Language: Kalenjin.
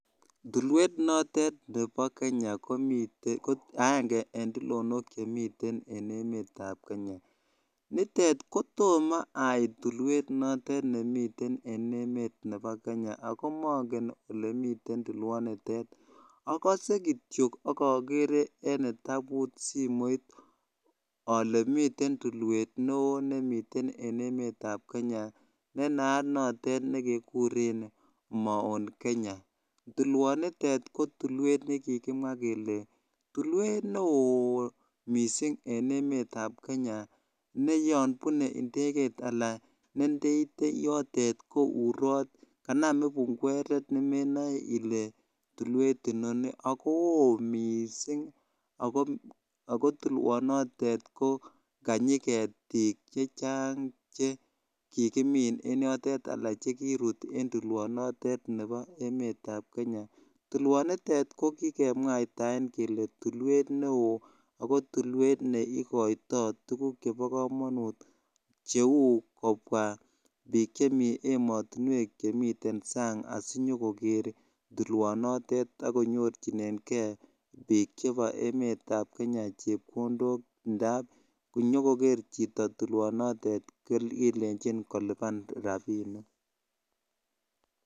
Tulweet notet nepo kenyaa nitet kotoma aiiit tulwanitet nepo kenyaaa agere ak akasee kityooo eng simeeit anan kokitabusheek akase kityo mitein tulwet neoo neaa nekanam kibungweret ak kooo missing ak kokanyii ketik ako tulwet neikaitaii tuguk chechang amun konyo chito nikoker tulwaznitok kelenjin konyo nikolipan rapisheek